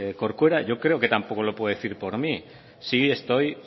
corcuera yo creo que tampoco lo puede decir por mí no estoy